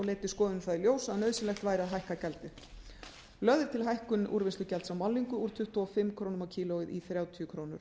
leiddi skoðunin það í ljós að nauðsynlegt væri að hækka gjaldið lögð er til hækkun úrvinnslugjalds á málningu úr tuttugu og fimm krónur kílógrömm í